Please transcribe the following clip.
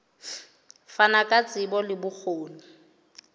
fana ka tsebo le bokgoni